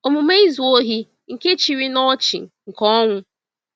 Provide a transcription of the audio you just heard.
Omume izu ohi nke chịrị n’ọchị nke ọnwụ.